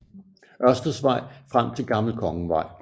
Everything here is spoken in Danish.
Ørsteds Vej frem til Gammel Kongevej